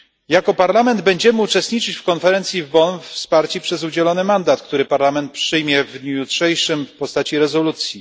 Jako Parlament będziemy uczestniczyć w konferencji w Bonn wsparci przez udzielony mandat, który Parlament przyjmie w dniu jutrzejszym w postaci rezolucji.